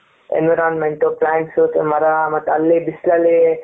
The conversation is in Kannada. environment plants ಮರ ಮತ್ತೆ ಅಲ್ಲಿ ಬಿಸಿಲಲಿ ,